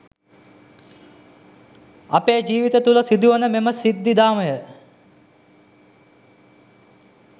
අපේ ජීවිත තුළ සිදුවෙන මෙම සිද්ධිදාමය